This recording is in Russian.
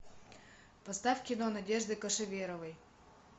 поставь кино надежды кошеверовой